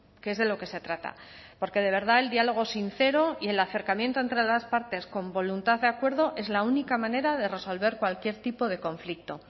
que es de lo que se trata porque de verdad el diálogo sincero y el acercamiento entre las partes con voluntad de acuerdo es la única manera de resolver cualquier tipo de conflicto